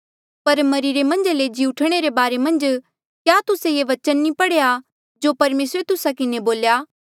पर मरिरे मन्झा ले जिउंदे हूंणे रे बारे मन्झ क्या तुस्से ये बचन नी पढ़ेया जो परमेसरे तुस्सा किन्हें बोल्या